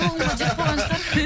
соғымға жеп қойған шығар